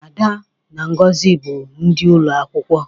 ada na ngozi bu ndi ulo akwukwo